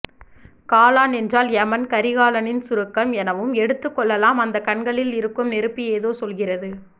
காலன் என்றால் எமன் கரிகாலனின் சுருக்கம் எனவும் எடுத்து கொள்ளலாம் அந்த கண்களில் இருக்கும் நெருப்பு ஏதோ சொல்கிறது